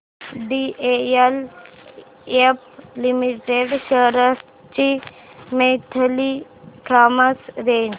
DLF limited shares ची monthly price range